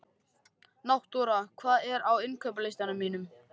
Náttúra, hvað er á innkaupalistanum mínum?